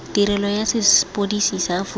tirelo ya sepodisi sa aforika